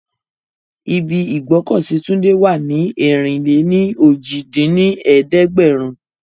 Ibi ìgbọ́kọ̀sí Túndé wà ní ẹ̀rin-lé-ní-ojì dín ní ẹ̀ẹ́dẹ́gbẹ́rún